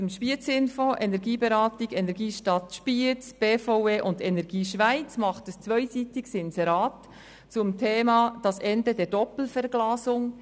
Die regionale Energieberatung, die Energiestadt Spiez, die BVE und EnergieSchweiz machen ein zweiseitiges Inserat zum Thema «Das Ende der Doppelverglasung».